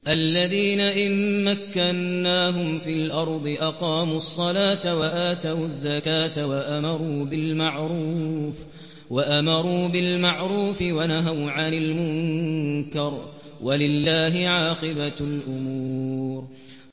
الَّذِينَ إِن مَّكَّنَّاهُمْ فِي الْأَرْضِ أَقَامُوا الصَّلَاةَ وَآتَوُا الزَّكَاةَ وَأَمَرُوا بِالْمَعْرُوفِ وَنَهَوْا عَنِ الْمُنكَرِ ۗ وَلِلَّهِ عَاقِبَةُ الْأُمُورِ